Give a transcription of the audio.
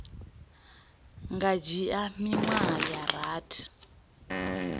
nga dzhia miṅwedzi ya rathi